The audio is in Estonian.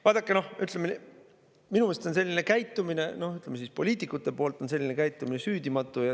Vaadake, minu meelest on poliitikute selline käitumine süüdimatu.